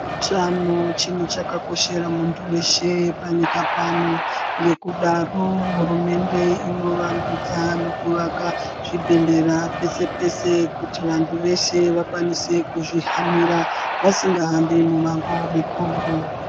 Utano chintu chakakoshera muntu weshe panyika pano ngekudaro hurumende inovandudza nekuvaka zvibhedhlera pese pese kuti vantu veshe vakwanise kuzvihanira vasingahambi mumango mikuru.